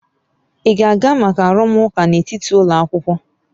Ị ga-aga maka arụmụka n'etiti ụlọ akwụkwọ?